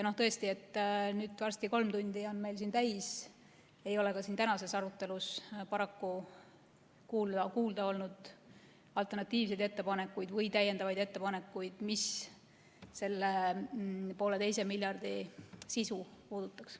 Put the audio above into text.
Tõesti, nüüd on meil varsti kolm tundi siin täis, aga ei ole ka tänases arutelus paraku kuulda olnud alternatiivseid ettepanekuid või täiendavaid ettepanekuid, mis selle pooleteise miljardi sisu puudutaks.